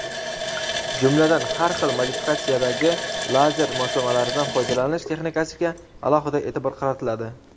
jumladan har xil modifikatsiyadagi lazer moslamalaridan foydalanish texnikasiga alohida e’tibor qaratiladi.